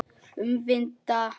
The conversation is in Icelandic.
Um vinda.